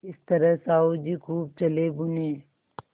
इस तरह साहु जी खूब जलेभुने